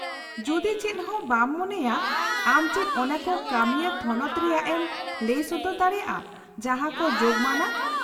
- ᱡᱩᱫᱤ ᱪᱮᱫᱦᱚᱸ ᱵᱟᱢ ᱢᱚᱱᱮᱭᱟ, ᱟᱢ ᱪᱮᱫ ᱚᱱᱟᱠᱚ ᱠᱟᱹᱢᱤᱭᱟᱹ ᱛᱷᱚᱱᱚᱛ ᱨᱮᱭᱟᱜ ᱮᱢ ᱞᱟᱹᱭ ᱥᱚᱫᱚᱨ ᱫᱟᱲᱮᱭᱟᱜᱼᱟ ᱡᱟᱦᱟᱸᱠᱚ ᱡᱳᱜᱢᱟᱱᱟ ?